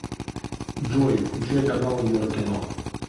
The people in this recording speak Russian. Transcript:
джой включай каналы еврокино